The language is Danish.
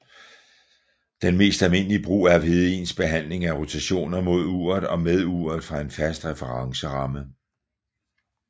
Den mest almindelige brug er ved ens behandling af rotationer mod uret og med uret fra en fast referenceramme